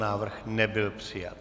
Návrh nebyl přijat.